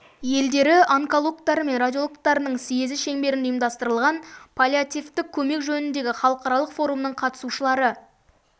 елдері онкологтары мен радиологтарының съезі шеңберінде ұйымдастырылған паллиативтік көмек жөніндегі халықаралық форумның қатысушылары